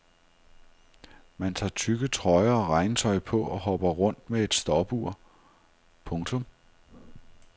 Man tager tykke trøjer og regntøj på og hopper rundt med et stopur. punktum